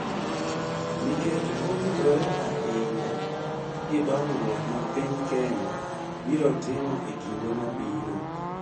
Nikech owinjore ahinya gi dongruok ma piny Kenya biro timo e kinde mabiro